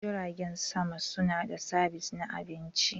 Jiragen sama suna da sabis na abinci.